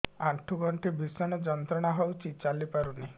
ଆଣ୍ଠୁ ଗଣ୍ଠି ଭିଷଣ ଯନ୍ତ୍ରଣା ହଉଛି ଚାଲି ପାରୁନି